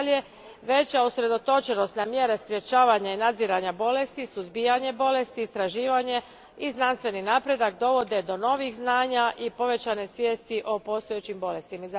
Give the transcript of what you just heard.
Nadalje, veća usredotočenost na mjere sprečavanja i nadziranja bolesti, suzbijanje bolesti, istraživanje i znanstveni napredak dovode do novih znanja i povećane svijesti o postojećim bolestima.